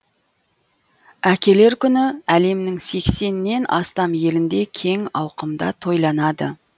әкелер күні әлемнің сексеннен астам елінде кең ауқымда тойланады